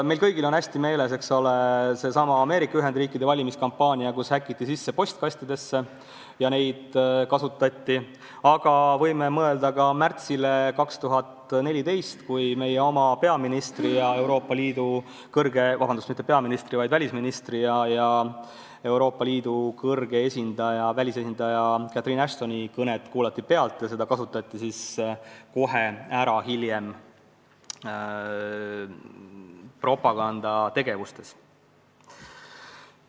Meil kõigil on hästi meeles Ameerika Ühendriikide valimiskampaania, mille ajal häkiti sisse postkastidesse, aga võime mõelda ka märtsile 2014, kui meie oma välisministri ja Euroopa Liidu kõrge välisesindaja Catherine Ashtoni kõnet kuulati pealt ja seda kasutati kohe ära propagandategevuses.